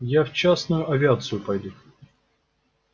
я в частную авиацию пойду